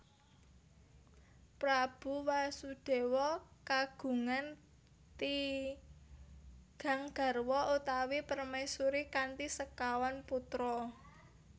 Prabu Wasudewa kagungan tigang garwa utawi permaisuri kanthi sekawan putra